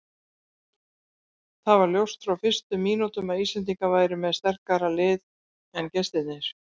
Það var ljóst frá fyrstu mínútum að Íslendingar væru með sterkara lið en gestirnir.